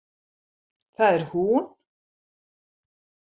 Það er hún!